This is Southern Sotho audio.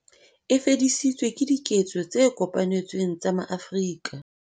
E fedisitswe ke diketso tse kopanetsweng tsa maAfrika